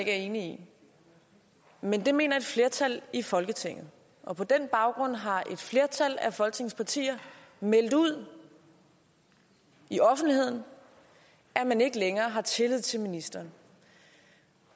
er enig i men det mener et flertal i folketinget og på den baggrund har et flertal af folketingets partier meldt ud i offentligheden at man ikke længere har tillid til ministeren